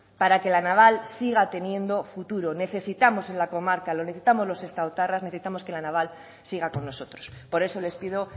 para que la naval siga teniendo futuro necesitamos en la comarca lo necesitamos los sestaotarras necesitamos que la naval siga con nosotros por eso les pido